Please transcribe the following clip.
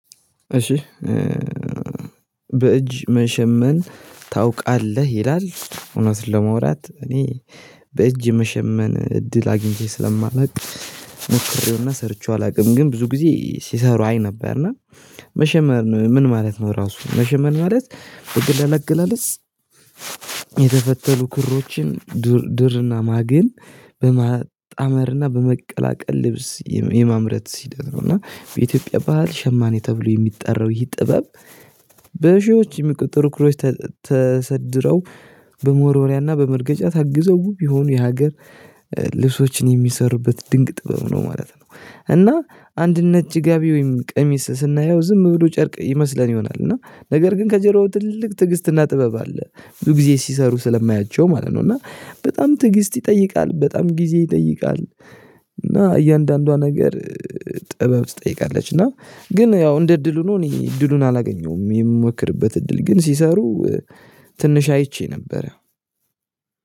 እሺ በእጅ መሸመን ታውቃለህ ይላል እውነት ለማውራት እኔ በእጅ መሸመን እድል አግኝቼ ስለማላውቅ። ሞክሬው እና ሰርቼው አላውቅም ግን ብዙ ጊዜ ሲሰሩ አይ ነበር። እና መሸመን ምን ማለት ነው? ራሱ መሸመን ማለት በቀላል እግላለጽ። የተፈተሉ ክሮችን ዱር ድር እና ማግን በማጣመር እና በመቀላቀል ልብስ የማምረት ሂደት ነው። እና በኢትዮጵያ ባህል ሸማኔ ተብሎ የሚጠራው ይህ ጥበብ። በሺዎች የሚቆጠሩ ክሮች ተሰድረው በመወርወርያ እና በመርገጫ ታግዘው ዉብ የሆኑ የሀገር ልብሶችን የሚሰሩበት ድንቅ ጥበብ ነው። ማለት ነው። እና ነጭ ጋቢ ወይም ቀሚስ ስናየው ዝም ብሎ ጨርቅ ይመስለን ይሆናል እና ነገር ግን ከጀርባው ትልቅ ትዕግስትና ጥበብ አለ። ብዙ ጊዜ ሲሰሩ ስለማያቸው ማለት ነው። እና በጣም ትግስት ይጠይቃል በጣም ጊዜ ይጠይቃል። እና እያንዳንዷ ነገር ጥበብ ትጠይቃለች። እና ግን ያው እንደ እድል ሆኖ እኔ እድሉን አላገኘሁም የምሞክርበት እድል ግን ሲሰሩ ትንሽ አይቼ ነበረ።